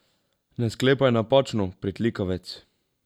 Ne sklepaj napačno, pritlikavec.